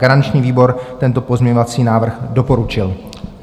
Garanční výbor tento pozměňovací návrh doporučil.